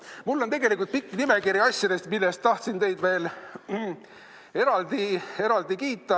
Mul on tegelikult pikk nimekiri asjadest, mille eest ma tahtsid teid veel eraldi kiita.